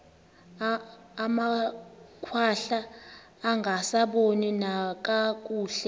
amakhwahla angasaboni nakakuhle